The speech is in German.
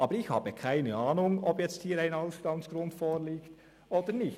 Aber ich habe keine Ahnung, ob jetzt ein Ausstandsgrund vorliegt oder nicht.